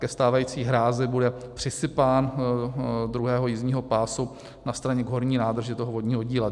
Ke stávající hrázi bude přisypán druhého jízdního pásu na straně k horní nádrži toho vodního díla.